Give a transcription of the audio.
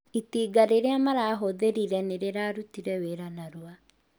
Itinga rĩrĩa marahũthĩrire nĩ rĩrarutire wĩra narua